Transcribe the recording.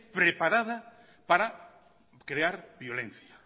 preparada para crear violencia